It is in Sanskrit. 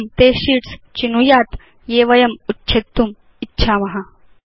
इदं ते शीट्स् चिनुयात् ये वयम् उच्छेत्तुम् इच्छाम